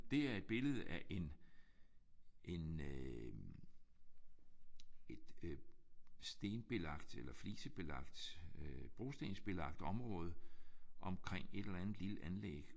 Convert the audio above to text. Det er et billede af en en øh et øh stenbelagt eller flisebelagt øh brostensbelagt område omkring et eller andet lille anlæg